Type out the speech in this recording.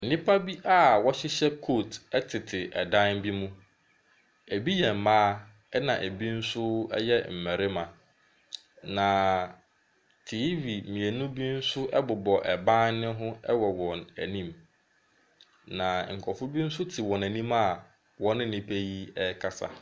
Nnipa bi a wɔhyehyɛ coat ɛtete ɛdan bi mu, ebi yɛ mmaa na ebi nso yɛ mmarima. Na tv mmienu bi ɛnso ɛbobɔ ban ho wɔ wɔn anim na nkorɔfoɔ bi nso te wɔn anim a ɔne nnipa yi rekasa.